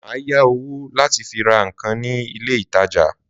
Má ya owo lati fi ra nkan nile ìtajà